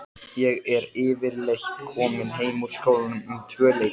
Og af hverju voruð þið nú að þessu, heillakarlarnir?